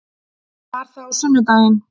Var það á sunnudaginn?